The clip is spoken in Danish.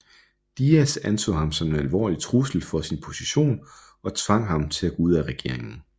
Díaz anså ham som en alvorlig trussel for sin position og tvang ham til at gå ud af regeringen